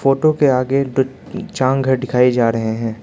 Photo के आगे दिखाई जा रहे हैं।